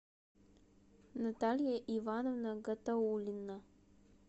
наталья ивановна гатауллина